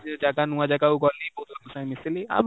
ସେ ଜାଗା ନୂଆ ଜାଗା କୁ ଗଲି, ବହୁତ ଲୋକଙ୍କ ସାଙ୍ଗେ ମିଶିଲି